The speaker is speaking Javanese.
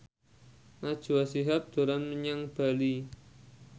Najwa Shihab dolan menyang Bali